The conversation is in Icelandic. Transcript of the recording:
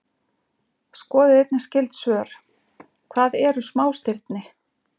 Skoðið einnig skyld svör: Hvað eru smástirni?